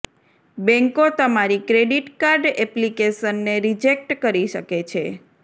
બેંકો તમારી credit card એપ્લિકેશનને રિજેક્ટ કરી શકે છે